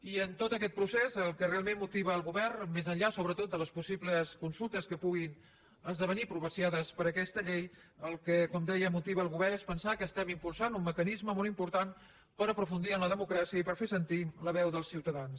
i en tot aquest procés el que realment motiva el govern més enllà sobretot de les possibles consultes que puguin esdevenir propiciades per aquesta llei el que com deia motiva el govern és pensar que estem impulsant un mecanisme molt important per aprofundir en la democràcia i per fer sentir la veu dels ciutadans